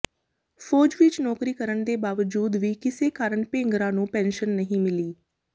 ਫੌਜ ਵਿੱਚ ਨੌਕਰੀ ਕਰਨ ਦੇ ਬਾਵਜੂਦ ਵੀ ਕਿਸੇ ਕਾਰਨ ਭੇਂਗਰਾ ਨੂੰ ਪੈਨਸ਼ਨ ਨਹੀਂ ਮਿਲੀ